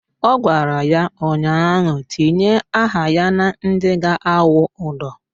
Ọ gwara ya ụnyaahụ "Tinye aha ya na ndị ga-awụ ụdọ"!